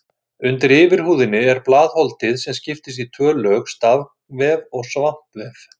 Undir yfirhúðinni er blaðholdið sem skiptist í tvö lög, stafvef og svampvef.